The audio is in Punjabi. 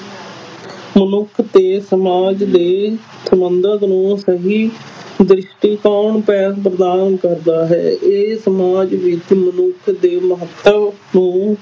ਮਨੁੱਖ ਤੇ ਸਮਾਜ ਦੇ ਸੰਬੰਧਾਂ ਨੂੰ ਸਹੀ ਦ੍ਰਿਸ਼ਟੀਕੋਣ ਪੈ ਪ੍ਰਦਾਨ ਕਰਦਾ ਹੈ ਇਹ ਸਮਾਜ ਵਿੱਚ ਮਨੁੱਖ ਦੇ ਮਹੱਤਵ ਨੂੰ